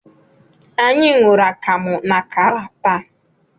Anyị ṅụrụ akamu na akara taa.